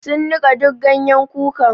Sun nika duk ganyen kukan.